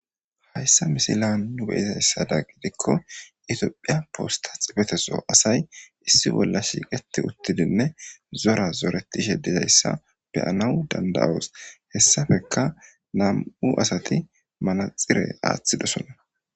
Hayssa misilezan nu be 'izaysadan gidiko,Tophphiya posta xifete soo asay issi bolla shiiqeti uttidine zora zoretishe dizaysa be'anaas danda'oos. Hessappeka nam'u adati manaxire wothidosona.